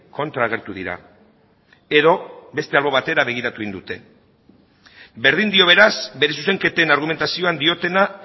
kontra agertu dira edo beste albo batera begiratu egin dute berdin dio beraz bere zuzenketen argumentazioan diotena